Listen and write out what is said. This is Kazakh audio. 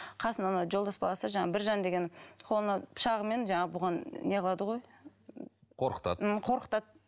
қасында ана жолдас баласы жаңағы біржан деген қолына пышағымен жаңағы бұған не қылады ғой қорқытады м қорқытады